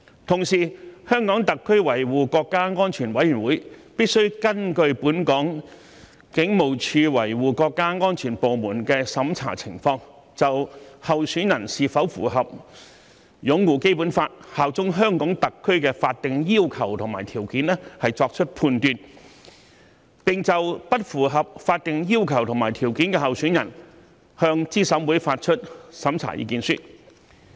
同時，香港特別行政區維護國家安全委員會必須根據香港警務處國家安全處的審查情況，就候選人是否符合"擁護《基本法》、效忠香港特區"的法定要求和條件作出判斷，並就不符合法定要求和條件的候選人向資審會發出審查意見書。